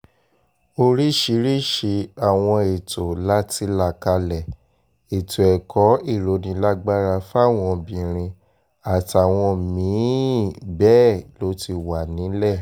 oríṣiríṣii àwọn ètò la ti là kalẹ̀ ètò ẹ̀kọ́ ìrónílágbára fáwọn obìnrin àtàwọn mí-ín bẹ́ẹ̀ ló ti wà nílẹ̀